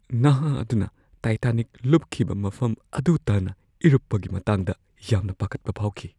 ꯅꯍꯥ ꯑꯗꯨꯅ ꯇꯥꯏꯇꯥꯅꯤꯛ ꯂꯨꯞꯈꯤꯕ ꯃꯐꯝ ꯑꯗꯨ ꯇꯥꯟꯅ ꯏꯔꯨꯞꯄꯒꯤ ꯃꯇꯥꯡꯗ ꯌꯥꯝꯅ ꯄꯥꯈꯠꯄ ꯐꯥꯎꯈꯤ ꯫